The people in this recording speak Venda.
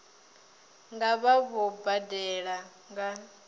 nga vha vho badela nga